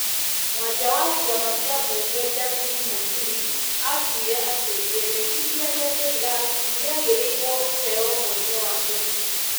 Mwaria wa kĩama kĩambunge Justin Mũturi atuire atĩ rĩendekithia rĩa JLAC nĩ rĩagĩrĩirwo kũheo mweke wa mbere ,